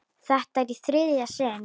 Þetta er í þriðja sinn.